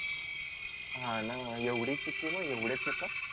हा न एवढी चुकी मग एवढे चुका